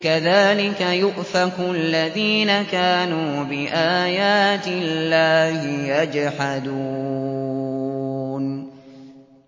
كَذَٰلِكَ يُؤْفَكُ الَّذِينَ كَانُوا بِآيَاتِ اللَّهِ يَجْحَدُونَ